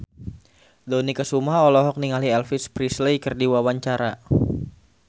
Dony Kesuma olohok ningali Elvis Presley keur diwawancara